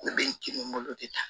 Ne bɛ n kibolo de ta